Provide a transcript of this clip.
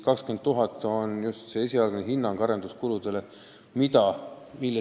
20 000 eurot on esialgne hinnang arenduskulude kohta.